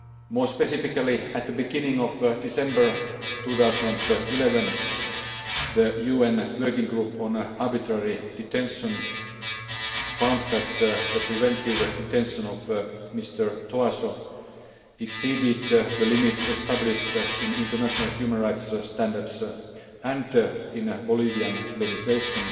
More specifically, at the beginning of December 2011, the UN Working Group on Arbitrary Detention found that the preventive detention of Mr Tóásó exceeded the limits established in international human rights standards and in Bolivian legislation.